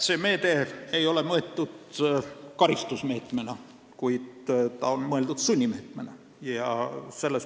See meede ei ole mõeldud karistusmeetmena, see on mõeldud sunnimeetmena.